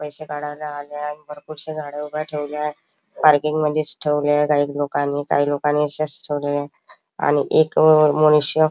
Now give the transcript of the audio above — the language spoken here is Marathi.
पैसे काढायला आली आहे आणि भरपूरशी झाडं ठेवली आहे पार्किंग मध्येच ठेवले काही लोकानी काही लोकानी अशीच ठेवलिये आणि एक अ मनुष्य--